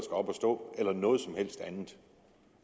op at stå eller noget som helst andet